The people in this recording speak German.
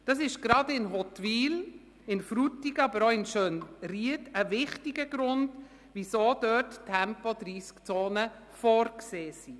Das ist gerade in Huttwil, aber auch in Frutigen und Schönried ein wichtiger Grund, weshalb dort Tempo-30-Zonen vorgesehen sind.